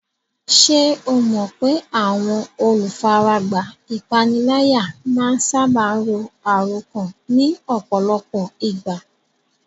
Ṣé o mọ̀ pé àwọn olùfaragbá ìpániláyà máa ń sáábà ro àròkán ní ọ̀pọ̀lọpọ̀ ìgbà?